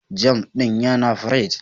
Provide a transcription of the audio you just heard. "Jam" din yana pirig.